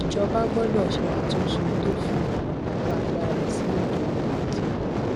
ìjọba gbọdọ ṣe àtúnṣe tó fi ìrànlọwọ agbára sí ètò ọrọ ajé